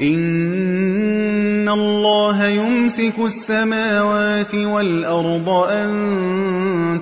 ۞ إِنَّ اللَّهَ يُمْسِكُ السَّمَاوَاتِ وَالْأَرْضَ أَن